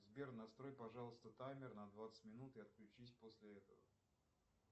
сбер настрой пожалуйста таймер на двадцать минут и отключись после этого